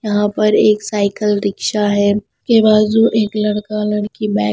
यहाँ पर एक साइकिल रिक्शा है के बाजू एक लड़का लड़की बैग --